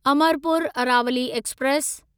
Amarpur Aravali express